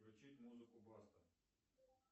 включить музыку баста